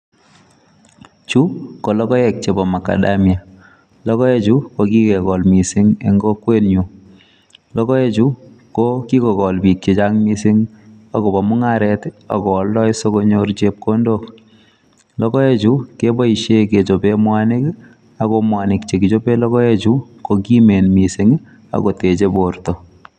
Chu ko logoek chepo macadamia. Logoechui ko kikekol mising eng kokwenyu, logoechu ko kikokol biik chechang mising akopo mung'aret akooldoi sikonyor chepkondok. Logoechu keboishe kechope mwanik ako mwanik chekichope logoechu ko kimen mising akoteche porto.